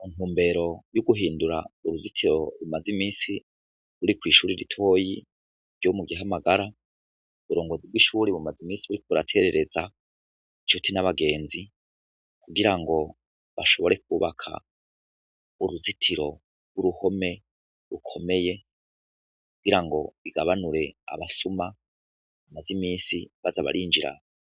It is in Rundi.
Muntumbero y'uguhindura uruzitiro rumaze imisi ruri kw'ishuri ritoyi ryo mu gihamagara uburongozi bw'ishuri bumaze imisi buri kuraterereza incuti n'abagenzi kugira ngo bashobore kubaka uruzitiro rw'uruhome rukomeye kugira ngo bigabanure abasuma bamaze imisi bazabarinjira